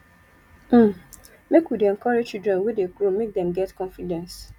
um make we dey encourage children wey dey grow make dem get confidence